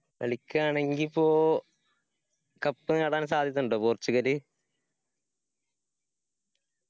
കളിക്കയാണെങ്കി ഇപ്പോ cup നേടാൻ സാധ്യത ഇണ്ടോ പോർച്ചുഗല്?